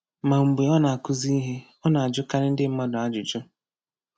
Ma mgbe ọ na-akụzi ihe, ọ na-ajụkarị ndị mmadụ ajụjụ.